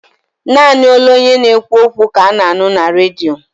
Naanị olu onye na-ekwu okwu ka ana-anụ na Redio.